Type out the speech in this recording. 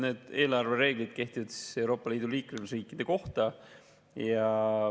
Need eelarvereeglid kehtivad Euroopa Liidu liikmesriikidele.